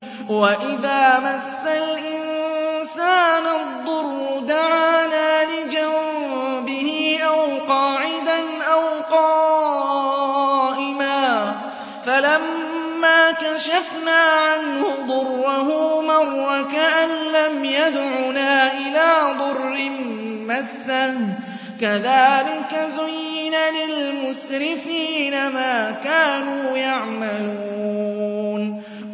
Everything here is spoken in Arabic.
وَإِذَا مَسَّ الْإِنسَانَ الضُّرُّ دَعَانَا لِجَنبِهِ أَوْ قَاعِدًا أَوْ قَائِمًا فَلَمَّا كَشَفْنَا عَنْهُ ضُرَّهُ مَرَّ كَأَن لَّمْ يَدْعُنَا إِلَىٰ ضُرٍّ مَّسَّهُ ۚ كَذَٰلِكَ زُيِّنَ لِلْمُسْرِفِينَ مَا كَانُوا يَعْمَلُونَ